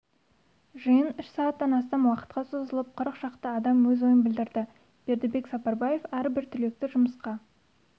жиын үш сағаттан астам уақытқа созылып кырыкшақты адам өз ойын білдірді бердібек сапарбаев әрбір түлекті жұмысқа